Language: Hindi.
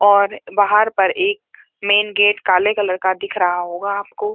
और बाहर पर एक मेन गेट काले कलर का दिखा रहा होगा आपको।